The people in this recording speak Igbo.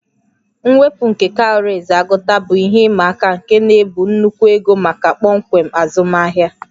Mwepu nke cowries agụta bụ ihe ịma aka nke na-ebu nnukwu ego maka kpọmkwem azụmahịa